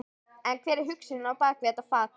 En hver er hugsunin á bak við þetta fagn?